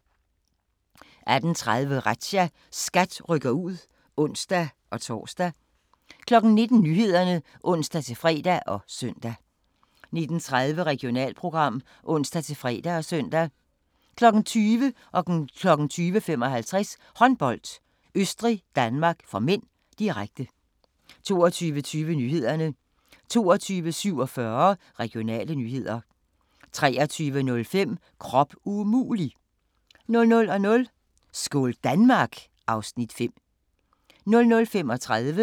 18:30: Razzia – SKAT rykker ud (ons-tor) 19:00: Nyhederne (ons-fre og søn) 19:30: Regionalprogram (ons-fre og søn) 20:00: Håndbold: Østrig-Danmark (m), direkte 20:55: Håndbold: Østrig-Danmark (m), direkte 22:20: Nyhederne 22:47: Regionale nyheder 23:05: Krop umulig! 00:00: Skål Danmark! (Afs. 5) 00:35: Grænsepatruljen